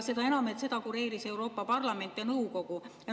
Seda enam, et seda kureerisid Euroopa Parlament ja Nõukogu.